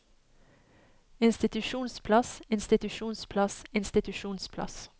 institusjonsplass institusjonsplass institusjonsplass